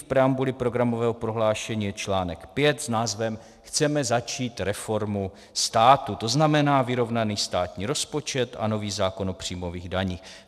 V preambuli programového prohlášení je článek 5 s názvem Chceme začít reformu státu, to znamená vyrovnaný státní rozpočet a nový zákon o příjmových daních.